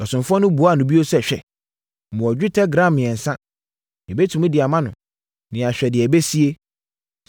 Ɔsomfoɔ no buaa no bio sɛ, “Hwɛ! Mewɔ dwetɛ gram mmiɛnsa. Yɛbɛtumi de ama no, na yɛahwɛ deɛ ɛbɛsie.”